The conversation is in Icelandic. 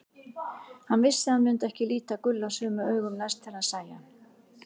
Hann vissi að hann myndi ekki líta Gulla sömu augum næst þegar hann sæi hann.